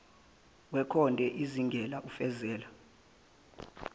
wekhonde ezingela ofezela